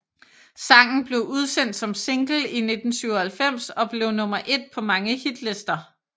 Sangen blev udsendt som single i 1997 og blev nummer ét på mange hitlister